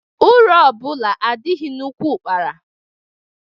Uru ọbụla adịghị n'úkwù ụ́kpara.